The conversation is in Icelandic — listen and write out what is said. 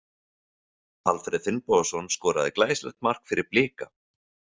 Alfreð Finnbogason skoraði glæsilegt mark fyrir Blika.